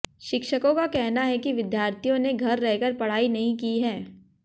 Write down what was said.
शिक्षकों का कहना है कि विद्यार्थियों ने घर रहकर पढ़ाई नहीं की है